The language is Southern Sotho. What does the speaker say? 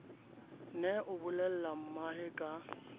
ne a bolelle mmae ka